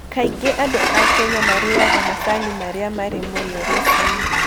Kaingĩ andũ a Kenya maarĩaga macani marĩa marĩ mũrĩo rũcinĩ.